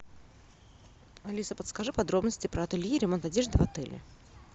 алиса подскажи подробности про ателье ремонт одежды в отеле